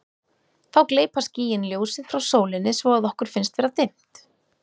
þá gleypa skýin ljósið frá sólinni svo að okkur finnst vera dimmt